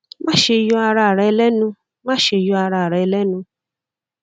maṣe yọ ara rẹ lẹnu maṣe yọ ara rẹ lẹnu